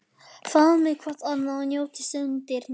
Faðmið hvort annað og njótið stundarinnar.